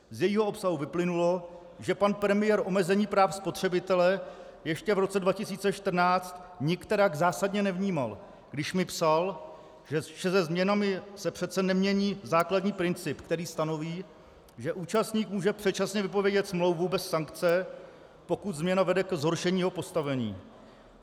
Z jejího obsahu vyplynulo, že pan premiér omezení práv spotřebitele ještě v roce 2014 nikterak zásadně nevnímal, když mi psal, že se změnami se přece nemění základní princip, který stanoví, že účastník může předčasně vypovědět smlouvu bez sankce, pokud změna vede ke zhoršení jeho postavení.